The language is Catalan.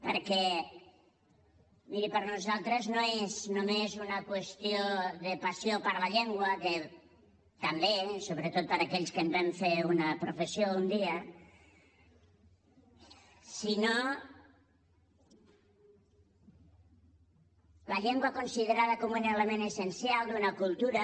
perquè miri per nosaltres no és només una qüestió de passió per la llengua que també sobretot per a aquells que en vam fer una professió un dia sinó la llengua considerada com un element essencial d’una cultura